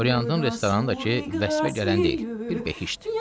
Oryantın restoranı da ki, vəsfə gələn deyil, bir behiştdir.